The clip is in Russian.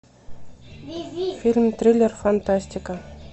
фильм триллер фантастика